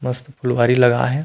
मस्त फुलवारी लगाए हे।